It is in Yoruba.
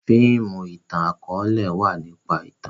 fíìmù itan-akọọlẹ wá nípa ìtàn.